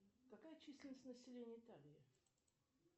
какая численность населения италии